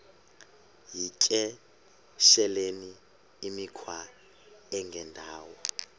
yityesheleni imikhwa engendawo